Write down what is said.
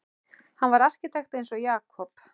Hann var arkitekt eins og Jakob.